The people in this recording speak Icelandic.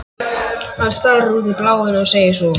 Hann starir út í bláinn og segir svo